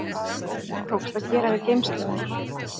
Ekki tókst að gera við geimstöðina